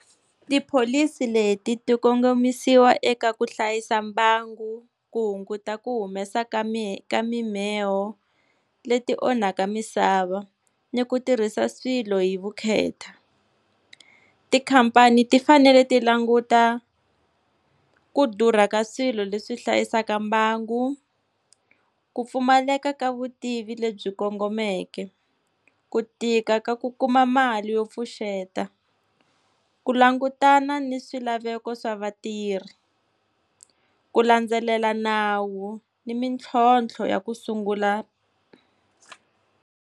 Tipholisi leti ti kongomisiwa eka ku hlayisa mbangu, ku hunguta ku humesa ka ka mimheho leti onhaka misava, ni ku tirhisa swilo hi vukheta. Tikhampani ti fanele ti languta, ku durha ka swilo leswi hlayisaka mbangu, ku pfumaleka ka vutivi lebyi kongomeke, ku tika ka ku kuma mali yo pfuxeta, ku langutana ni swilaveko swa vatirhi, ku landzelela nawu ni mitlhontlho ya ku sungula.